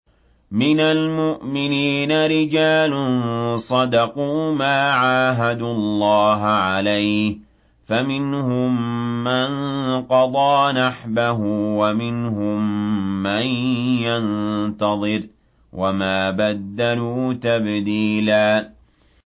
مِّنَ الْمُؤْمِنِينَ رِجَالٌ صَدَقُوا مَا عَاهَدُوا اللَّهَ عَلَيْهِ ۖ فَمِنْهُم مَّن قَضَىٰ نَحْبَهُ وَمِنْهُم مَّن يَنتَظِرُ ۖ وَمَا بَدَّلُوا تَبْدِيلًا